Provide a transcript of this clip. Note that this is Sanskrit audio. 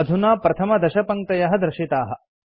अधुना प्रथमदशपङ्क्तयः दर्शिताः